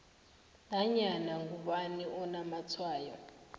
nanyana ngubani onamatshwayo